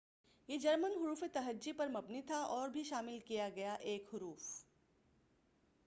یہ جرمن حروف تہحی پر مبنی تھا اور ایک حرف õ/õ بھی شامل کیا گیا۔